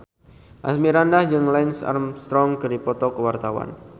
Asmirandah jeung Lance Armstrong keur dipoto ku wartawan